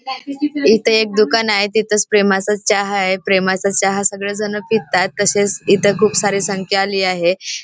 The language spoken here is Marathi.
इथे एक दुकान आहे तिथच प्रेमाचा चहा आहे प्रेमाचा चहा सगळेजण पितात तसेच इथे खूप सारी संख्या आली आहे.